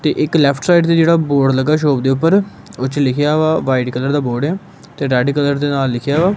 ਤੇ ਇੱਕ left side ਤੇ ਜਿਹੜਾ ਬੋਰਡ ਲੱਗਾ ਸ਼ੋਪ ਦੇ ਉੱਪਰ ਉਹ ਚ ਲਿਖਿਆ ਵਾ ਵਾਈਟ ਕਲਰ ਦਾ ਬੋਰਡ ਆ ਤੇ ਰੈਡ ਕਲਰ ਦੇ ਨਾਲ ਲਿਖਿਆ ਵਾ।